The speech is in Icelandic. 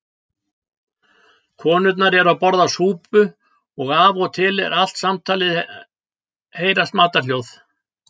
Konurnar eru að borða súpu og af og til allt samtalið heyrast matarhljóð.